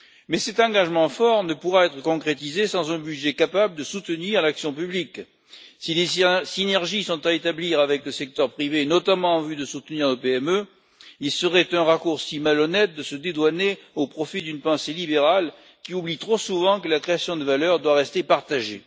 Mais cet engagement fort ne pourra être concrétisé sans un budget capable de soutenir l'action publique. Si des synergies sont à établir avec le secteur privé, notamment en vue de soutenir nos PME, il serait malhonnête de se dédouaner au profit d'une pensée libérale, qui oublie trop souvent que la création de valeur doit rester partagée.